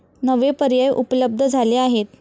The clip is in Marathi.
नवे पर्याय उपलब्ध झाले आहेत.